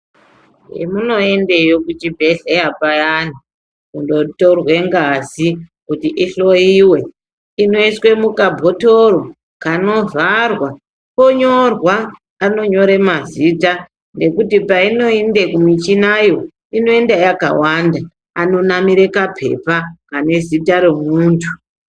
Emmunoendeyo kuchibhedhleya payani, kundotorwe ngazi kuti ihloiwe, inoiswe mukabhotoro, kanovharwa, konyorwa. Anonyore mazita ngekuti painoende kumichinayo inoenda yakawande. Anonamire kaphepha kane zita remuntu.